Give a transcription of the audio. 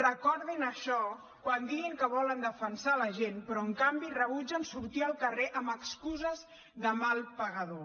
recordin això quan diguin que volen defensar la gent però en canvi rebutgen sortir al carrer amb excuses de mal pagador